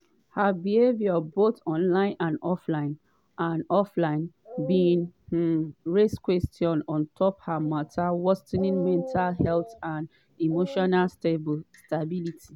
“her behaviour both online and offline and offline bin um raise questions on top her worsening mental health and emotional stability.”